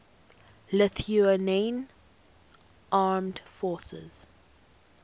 lithuanian armed forces